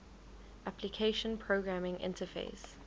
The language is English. application programming interface